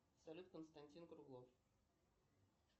салют константин круглов